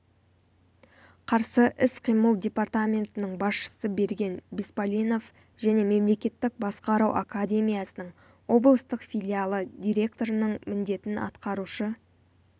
қарсы іс-қимыл департаментінің басшысы берген беспалинов және мемлекеттік басқару академиясының облыстық филиалы директорының міндетін атқарушы